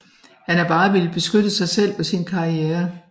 Han har bare villet beskytte sig selv og sin karriere